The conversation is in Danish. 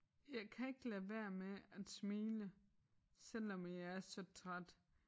Jeg kan ikke lade være med at smile selvom at jeg er så træt